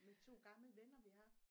Med 2 gamle venner vi har